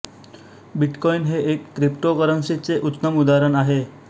bitcoin हे एक cryptocurrency चे उत्तम उदाहरण आहे